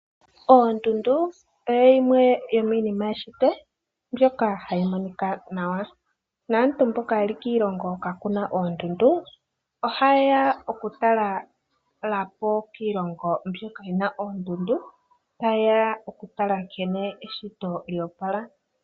Oondundu oyo yimwe yomiinima yeshito, mbyoka hayi monika nawa. Naantu mboka yeli kiilongo kakuna oondundu, ohayeya okutalelapo kiilongo hoka kuna oondundu, tayeya okutala nkene eshito lyo opala.